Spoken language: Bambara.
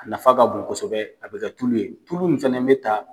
A nafa ka bon kosɛbɛ a bɛ ka tulu ye, tulu nin fɛnɛ bɛ taa.